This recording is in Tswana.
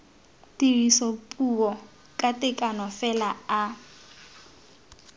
tirisopuo ka tekano fela a